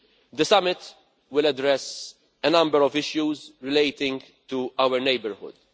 The summit will address a number of issues relating to our neighbourhood.